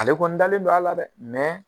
Ale kɔni dalen don a la dɛ